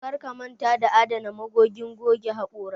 Karka manta ka adana magogin goge haƙora